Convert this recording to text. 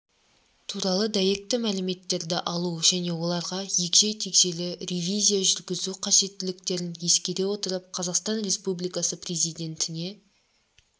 туралы дәйекті мәліметтерді алу және оларға егжей-тегжейлі ревизия жүргізу қажеттіліктерін ескере отырып қазақстан республикасы президентіне